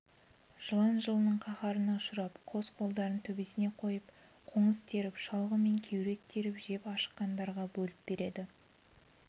жылан жылының қаһарына ұшырап қос қолдарын төбесіне қойып қоңыз теріп шалғы мен кеурек теріп жеп ашыққандарға бөліп береді